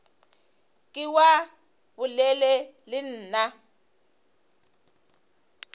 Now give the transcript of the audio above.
ke wa bolela le nna